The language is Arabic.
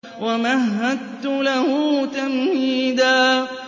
وَمَهَّدتُّ لَهُ تَمْهِيدًا